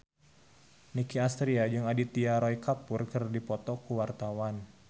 Nicky Astria jeung Aditya Roy Kapoor keur dipoto ku wartawan